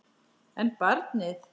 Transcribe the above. En barnið?